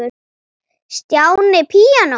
Stjáni píanó